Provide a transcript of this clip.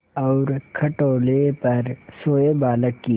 और खटोले पर सोए बालक की